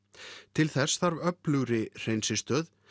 til þess þarf öflugri hreinsistöð